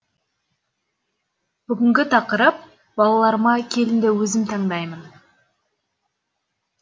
бүгінгі тақырып балаларыма келінді өзім таңдаймын